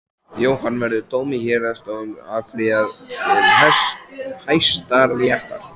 Jóhann: Verður dómi héraðsdóms áfrýjað til Hæstaréttar?